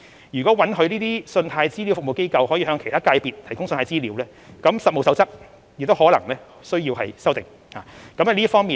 如果允許信貸資料服務機構向其他界別的機構提供信貸資料，《實務守則》亦可能需要作出修訂。